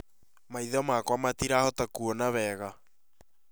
Maitho makwa matirahota kuona wega